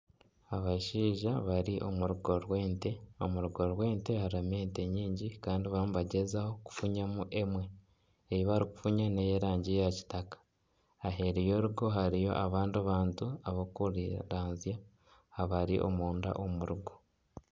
Abashaija bari omu rugo rw'ente, omu rungo rw'ente harimu ente nyingi kandi barimu nibagyezaho kufunyamu emwe, ei barikufunya n'ey'erangi ya kitaka, aheeru y'orungo hariyo abandi bantu abarikuranzya abari omunda omu rugo